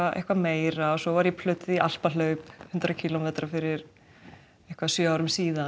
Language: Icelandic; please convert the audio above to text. eitthvað meira svo var ég plötuð í Alpahlaup hundrað kílómetra fyrir sjö árum síðan